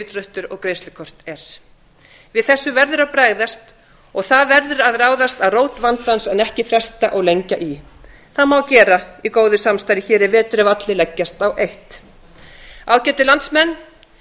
yfirdráttur og greiðslukort er við þessu verður að bregðast og það verður að ráðast að rót vandans en ekki fresta og lengja í það má gera í góðu samstarfi í vetur ef allir leggjast á eitt ágætu landsmenn